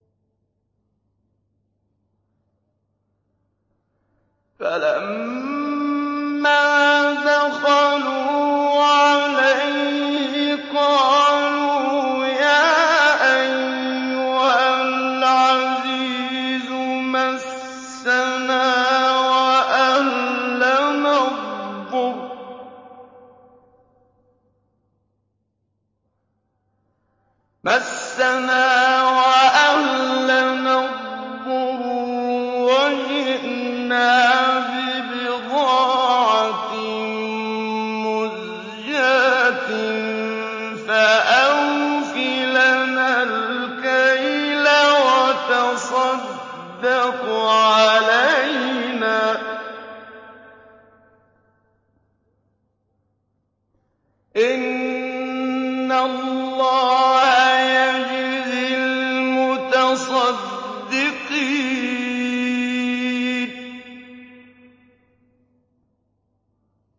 فَلَمَّا دَخَلُوا عَلَيْهِ قَالُوا يَا أَيُّهَا الْعَزِيزُ مَسَّنَا وَأَهْلَنَا الضُّرُّ وَجِئْنَا بِبِضَاعَةٍ مُّزْجَاةٍ فَأَوْفِ لَنَا الْكَيْلَ وَتَصَدَّقْ عَلَيْنَا ۖ إِنَّ اللَّهَ يَجْزِي الْمُتَصَدِّقِينَ